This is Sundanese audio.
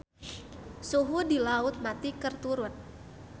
Suhu di Laut Mati keur turun